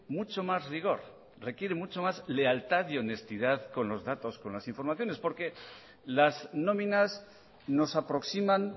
mucho más rigor requiere mucho más lealtad y honestidad con los datos con las informaciones porque las nóminas nos aproximan